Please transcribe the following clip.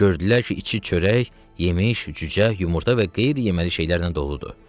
Gördülər ki, içi çörək, yemiş, cücə, yumurta və qeyri-yeməli şeylərlə doludur.